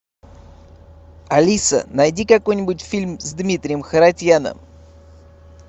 алиса найди какой нибудь фильм с дмитрием харатьяном